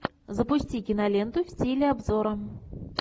запусти киноленту в стиле обзора